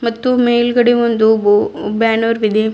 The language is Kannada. ಮತ್ತು ಮೇಲ್ಗಡೆ ಒಂದು ಬು ಬ್ಯಾನರ್ ಇದೆ.